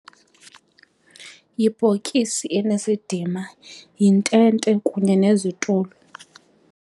Yibhokisi enesidima, yintente kunye nezitulo.